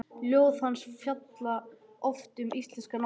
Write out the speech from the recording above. Ljóð hans fjalla oft um íslenska náttúru.